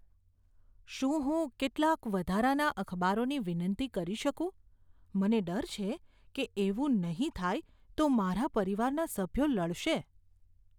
શું હું કેટલાક વધારાના અખબારોની વિનંતી કરી શકું? મને ડર છે કે એવું નહીં થાય તો મારા પરિવારના સભ્યો લડશે.